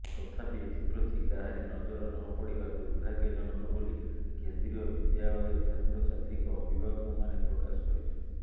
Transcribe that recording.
ତଥାପି ଏଥିପ୍ରତି କାହାରି ନଜର ନପଡ଼ିବା ଦୁର୍ଭାଗ୍ୟଜନକ ବୋଲି କେନ୍ଦ୍ରୀୟ ବିଦ୍ୟାଳୟ ଛାତ୍ରଛାତ୍ରୀଙ୍କ ଅଭିଭାବକମାନେ ପ୍ରକାଶ କରିଛନ୍ତି